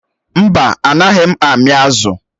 Mba, Anaghị m ami azụ̀